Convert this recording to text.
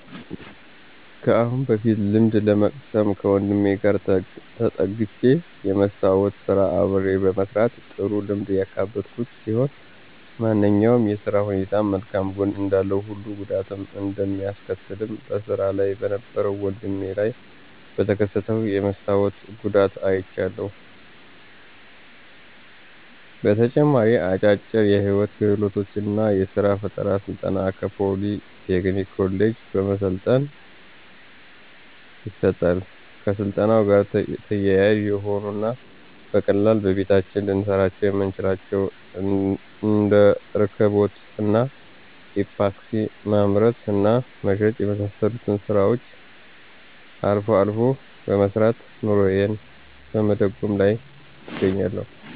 ከአሁን በፊት ልምድ ለመቅሰም ከወንድሜ ጋር ተጠግቸ የመስታዎት ስራ አብሬ በመስራት ጥሩ ልምድ ያካበትኩበት ሲሆን ማንኛውም የስራ ሁኔታም መልካም ጎን እንዳለው ሁሉ ጉዳትም እንደሚያስከትልም በስራ ላይ በነበረው ወድሜ ላይ በተከሰተው የመስታወት ጉዳት አይቻለሁ። በተጨማሪም አጫጭር የህይወት ክህሎት እና የስራ ፈጠራ ስልጠና ከፖሊ ቴክኒክ ኮሌጅ በመሰልጠን ይሰጣል። ከስልጠናው ጋር ተያያዥ የሆኑ እና በቀላሉ በየቤታችን ልንሰራቸው የምንችላቸውን እንደ እርክቦት እና ኢፓክሲ ማምረት እና መሸጥ የመሳሰሉትን ስራዎችን አልፎ አልፎ በመስራት ኑሮየን በመደጎም ላይ እገኛለሁ።